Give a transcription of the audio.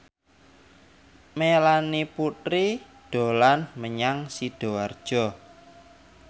Melanie Putri dolan menyang Sidoarjo